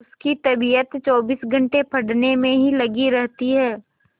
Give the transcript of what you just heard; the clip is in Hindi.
उसकी तबीयत चौबीस घंटे पढ़ने में ही लगी रहती है